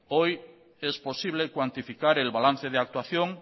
hoy es posible cuantificar el balance de actuación